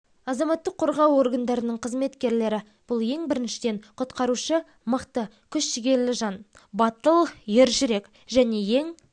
азаматтық қорғау органдарының қызметкерлері бұл ең біріншіден құтқарушы мықты күш жігерлі жан батыл ержүрек және ең